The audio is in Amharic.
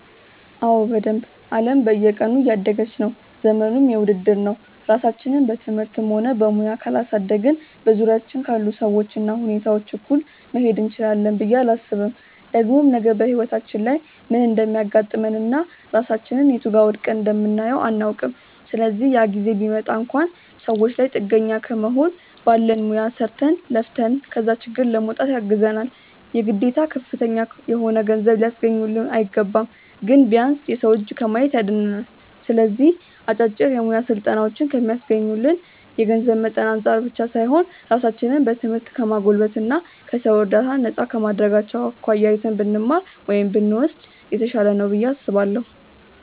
አዎ በደንብ። አለም በየቀኑ እያደገች ነው፤ ዘመኑም የውድድር ነው። ራሳችንን በትምህርትም ሆነ በሙያ ካላሳደግን በዙሪያችን ካሉ ሰዎች እና ሁኔታዎች እኩል መሄድ እንችላለን ብዬ አላስብም። ደግሞም ነገ በህይወታችን ላይ ምን እንደሚያጋጥመን እና ራሳችንን የቱ ጋር ወድቀን እንደምናየው አናውቅም። ስለዚህ ያ ጊዜ ቢመጣ እንኳን ሰዎች ላይ ጥገኛ ከመሆን ባለን ሙያ ሰርተን፣ ለፍተን ከዛ ችግር ለመውጣት ያግዘናል። የግዴታ ከፍተኛ የሆነ ገንዘብ ሊያስገኙልን አይገባም። ግን ቢያንስ የሰው እጅ ከማየት ያድነናል። ስለዚህ አጫጭር የሙያ ስልጠናዎችን ከሚስገኙልን የገንዘብ መጠን አንፃር ብቻ ሳይሆን ራሳችንን በትምህርት ከማጎልበት እና ከሰው እርዳታ ነፃ ከማድረጋቸው አኳያ አይተን ብንማር (ብንወስድ) የተሻለ ነው ብዬ አስባለሁ።